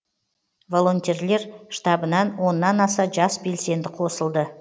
волонтерлер штабынан оннан аса жас белсенді қосылды